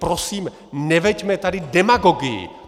Prosím, neveďme tady demagogii!